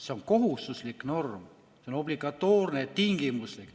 See on kohustuslik norm, see on obligatoorne, tingimuslik.